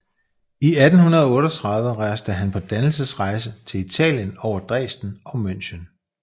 I 1838 rejste han på dannelsesrejse til Italien over Dresden og München